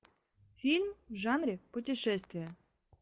фильм в жанре путешествие